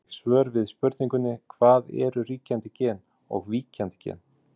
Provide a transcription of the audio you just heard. Sjá einnig svör við spurningunni Hvað eru ríkjandi gen og víkjandi gen?